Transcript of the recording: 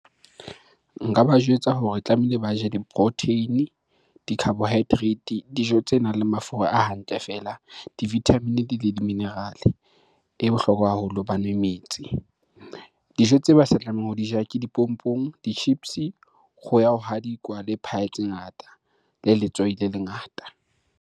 Nka ba jwetsa hore tlamehile ba je di-protein-e, di-carbohydrate, dijo tse nang le mafura a hantle feela, di-vitamin-e le di-mineral-, e bohlokwa haholo ba nwe metsi. Dijo tseo ba sa tlamehang ho di ja ke dipompong, di-chips, kgoho ya ho hadikwa le pie tse ngata, le letswai le le ngata.